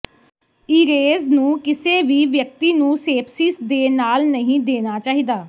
ਈਰੇਜ਼ ਨੂੰ ਕਿਸੇ ਵੀ ਵਿਅਕਤੀ ਨੂੰ ਸੇਪਸੀਸ ਦੇ ਨਾਲ ਨਹੀਂ ਦੇਣਾ ਚਾਹੀਦਾ